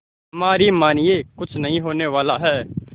हमारी मानिए कुछ नहीं होने वाला है